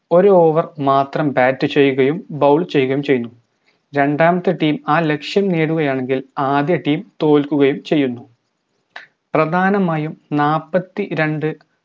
ഒര് over മാത്രം bat ചെയ്യുകയും bowl ചെയ്യുകയും ചെയ്യുന്നു രണ്ടാമത്തെ team ആ ലക്ഷ്യം നേടുകയാണെങ്കിൽ ആദ്യ team തോൽക്കുകയും ചെയ്യുന്നു പ്രധാനമായും നാപ്പത്തിരണ്ട്‍